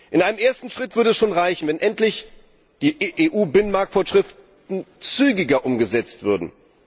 In einem ersten Schritt würde es schon reichen, wenn endlich die EU Binnenmarktvorschriften zügiger umgesetzt würden.